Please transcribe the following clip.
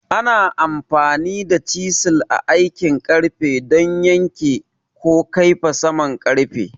Ana amfani da chisels a aikin ƙarfe don yanke ko kaifafa saman ƙarfe.